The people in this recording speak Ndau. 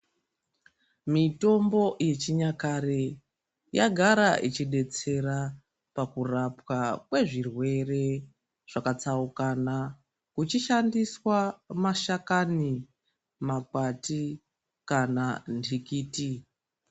Mitombo yechinyakare yagara ichidetsera pakurapwa kwezvirwere zvakatsaukana kuchishandiswa mashakani, makwati kana ndikiti.